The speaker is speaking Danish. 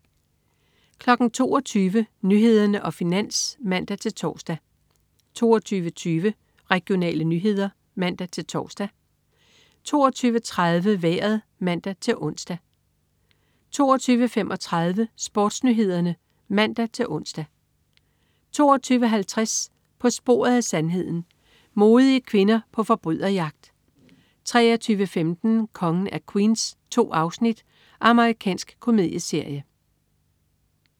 22.00 Nyhederne og Finans (man-tors) 22.20 Regionale nyheder (man-tors) 22.30 Vejret (man-ons) 22.35 SportsNyhederne (man-ons) 22.50 På sporet af sandheden. Modige kvinder på forbryderjagt 23.15 Kongen af Queens. 2 afsnit. Amerikansk komedieserie